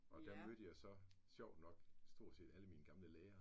Og der mødte jeg jo så sjovt nok stort set alle mine gamle lærere